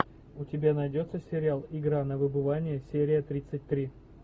у тебя найдется сериал игра на выбывание серия тридцать три